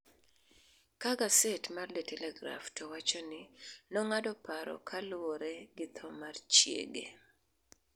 ka gaset mar De Telegraaf to wacho ni nong'ado paro kaluwore gi tho mar chiege